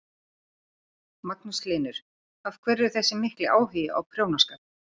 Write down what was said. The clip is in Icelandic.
Magnús Hlynur: Af hverju þessi mikli áhugi á prjónaskap?